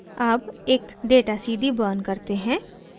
अब एक data cd burn करते हैं